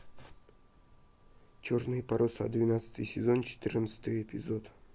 черные паруса двенадцатый сезон четырнадцатый эпизод